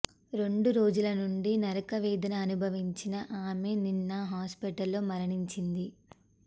రెండు రోజులనుండి నరకవేదన అనుభవించిన ఆమె నిన్న హాస్పిటల్ లో మరణించింది